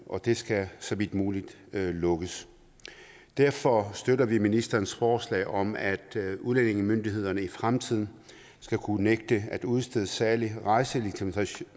og det skal så vidt muligt lukkes derfor støtter vi ministerens forslag om at udlændingemyndighederne i fremtiden skal kunne nægte at udstede særlig rejselegitimation